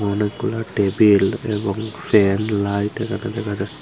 অনেকগুলা টেবিল এবং fan light এখানে দেখা যা--